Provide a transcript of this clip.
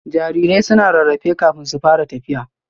Jarirai suna rarrafe kafin su fara tafiya